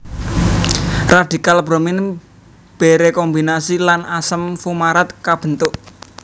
Radikal bromin berekombinasi lan asam fumarat kabentuk